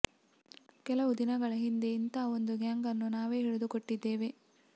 ಕೆಲವು ದಿನಗಳ ಹಿಂದೆ ಇಂಥ ಒಂದು ಗ್ಯಾಂಗನ್ನು ನಾವೇ ಹಿಡಿದು ಕೊಟ್ಟಿದ್ದೇವೆ